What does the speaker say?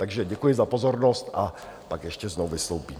Takže děkuji za pozornost a pak ještě znovu vystoupím.